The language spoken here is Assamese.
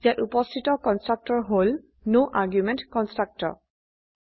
ইয়াত উপস্থিত কন্সট্ৰকটৰ হল ন আৰ্গুমেণ্ট কনষ্ট্ৰাক্টৰ